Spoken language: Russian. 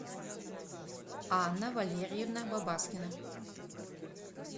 анна валерьевна бабаскина